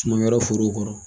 forow kɔrɔ